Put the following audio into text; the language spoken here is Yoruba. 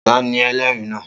Ta ni ẹlẹ́rìí náà?